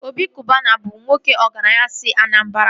Obi Kụbana bụ nwoke ọgaranya si Anambara